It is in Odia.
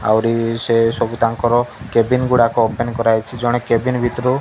ଆହୁରି ସେ ସବୁ ତାଙ୍କର କେଭିନ୍ ଗୁଡାକ ଓପେନ୍ କରାହୋଇଛି ଜଣେ କେଭିନ୍ ଭିତରୁ --